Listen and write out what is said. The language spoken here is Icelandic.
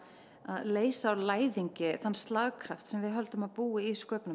leysa úr læðingi þann slagkraft sem við höldum að búi í